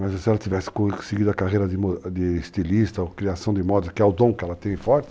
Mas se ela tivesse conseguido a carreira de estilista, ou criação de modas, que é o dom que ela tem forte,